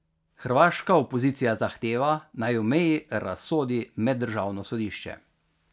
Hrvaška opozicija zahteva, naj o meji razsodi Meddržavno sodišče.